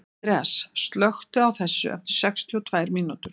Andreas, slökktu á þessu eftir sextíu og tvær mínútur.